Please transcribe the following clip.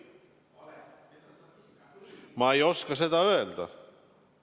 Ma ei oska seda öelda.